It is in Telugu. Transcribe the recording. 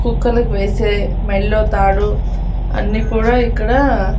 కుక్కలకి వేసే మెల్లో తాడు అన్ని కూడా ఇక్కడా--